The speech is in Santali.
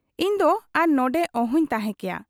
ᱤᱧᱫᱚ ᱟᱨ ᱱᱚᱱᱰᱮ ᱚᱦᱚᱧ ᱛᱟᱦᱮᱸ ᱠᱮᱭᱟ ᱾